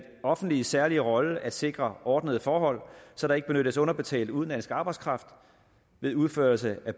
offentliges særlige rolle at sikre ordnede forhold så der ikke benyttes underbetalt udenlandsk arbejdskraft ved udførelse af